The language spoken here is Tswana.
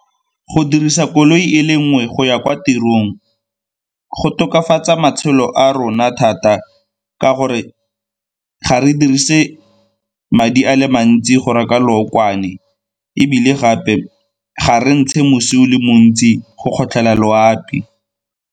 Go dirisa koloi e le nngwe go ya kwa tirong go tokafatsa matshelo a rona thata ka gore ga re dirise madi a le mantsi go reka lookwane ebile gape ga re ntshe mosi o le montsi go kgotlhela loapi.